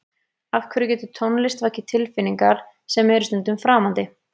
Af hverju getur tónlist vakið tilfinningar sem eru stundum framandi?